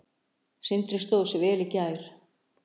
Sindri stóð sig vel í gær.